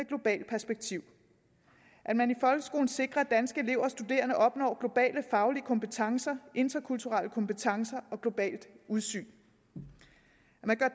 globalt perspektiv at man i folkeskolen sikrer at danske elever og studerende opnår globale faglige kompetencer interkulturelle kompetencer og globalt udsyn